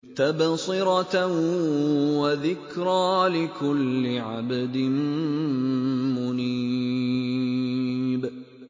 تَبْصِرَةً وَذِكْرَىٰ لِكُلِّ عَبْدٍ مُّنِيبٍ